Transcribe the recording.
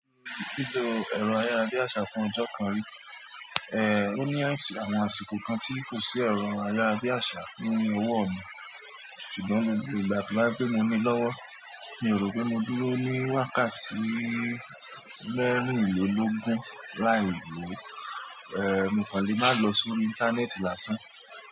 Lílo ẹ̀rọ ayárabíàṣá fún ọjọ́ kan ri, ó ní àwọn àsìkò kan tí kò sí ẹ̀rọ ayárabíàṣá ní ọwọ́ mi, ṣùgbọ́n gbogbo ìgbà tó bá jẹ́ pé mo ni lọ́wọ́ mi ò rò pé mo dúró ní wákàtí mẹ́rìnlélógún láìlò, ẹ́ mo kàn le máa lọ sórí íńtánẹ́ẹ̀tì lásán.